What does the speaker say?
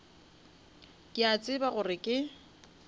ke a tseba gore ke